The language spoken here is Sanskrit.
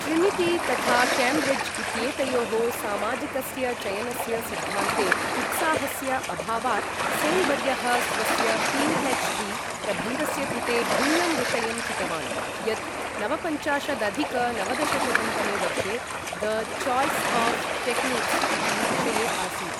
ट्रिनिटी तथा केम्ब्रिज् इत्येतयोः सामाजिकस्य चयनस्य सिद्धान्ते उत्साहस्य अभावात्, सेन् वर्यः स्वस्य पी.हेच्.डी. प्रबन्धस्य कृते भिन्नं विषयं चितवान्, यत् नवपञ्चाशदधिक नवदशशतं तमे वर्षे द चाय्स् आफ् टेक्निक्स् इति विषये आसीत्।